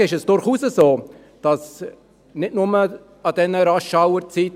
Hingegen ist es durchaus so, dass – nicht nur zu den RushhourZeiten;